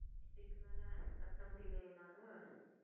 இதுக்கு மேலே கத்த முடியலையே என்னால.